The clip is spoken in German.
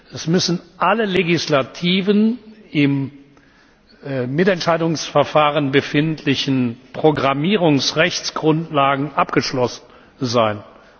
Es müssen alle legislativen im Mitentscheidungsverfahren befindlichen Programmierungsrechtsgrundlagen abgeschlossen sein.